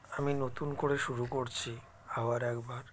আমি নতুন করে শুরু করছি আবার একবার